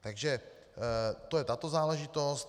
Takže to je tato záležitost.